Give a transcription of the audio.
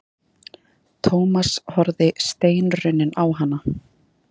Thomas horfði steinrunninn á hana.